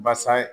Basa ye